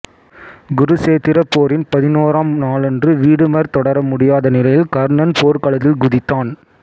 குருச்சேத்திரப் போரின் பதினோராம் நாளன்று வீடுமர் தொடர முடியாத நிலையில் கர்ணன் போர்க்களத்தில் குதித்தான்